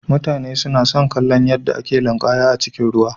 Mutane suna son kallon yadda ake linƙaya a cikin ruwa.